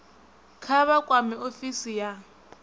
kha vha kwame ofisi ya